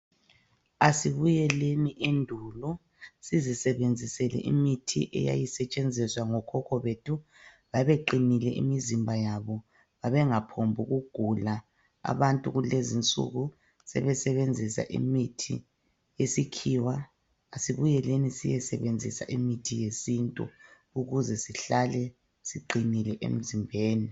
Asibuyeleni endulo. Sizisebenzisele imithi eyayisetshenziswa ngokhokho bethu. Babeqinile imizimba yabo. Babengaphombukugula. Abantu kulezi insuku, sebesebenzisa imithi yesikhiwa. Asibuyeleni siyesebenzisa imithi yesintu. Ukuze sihlale siqinile, emzimbeni.